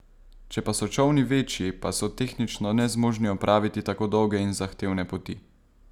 Če pa so čolni večji, pa so tehnično nezmožni opraviti tako dolge in zahtevne poti.